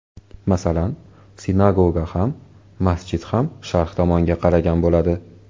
Masalan, sinagoga ham, masjid ham sharq tomonga qaragan bo‘ladi.